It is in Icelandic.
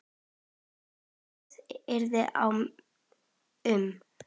Kveðið yrði á um